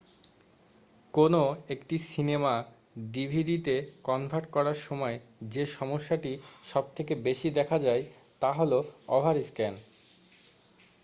কোনও একটা সিনেমা ডিভিডিতে কনভার্ট করার সময় যে সমস্যাটি সবথেকে বেশি দেখা যায় তা হল ওভারস্ক্যান